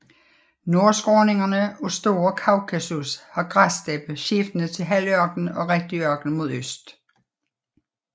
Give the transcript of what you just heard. Nordskråningerne af Store Kaukasus har græssteppe skiftende til halvørken og rigtig ørken mod øst